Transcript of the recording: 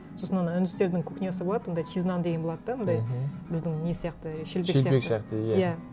сосын ана үндістердің кухнясы болады онда чиз наан деген болады да мындай біздің не сияқты шелпек сияқты иә